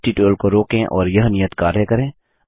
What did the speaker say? इस ट्यूटोरियल को रोकें और यह नियत कार्य करें